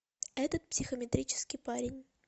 этот психометрический парень